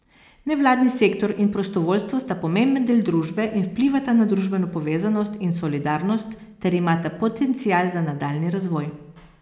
Nevladni sektor in prostovoljstvo sta pomemben del družbe in vplivata na družbeno povezanost in solidarnost ter imata potencial za nadaljnji razvoj.